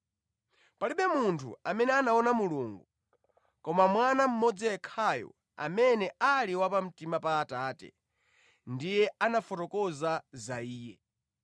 Palibe munthu amene anaona Mulungu, koma Mwana mmodzi yekhayo amene ali wa pamtima pa Atate, ndiye anafotokoza za Iye.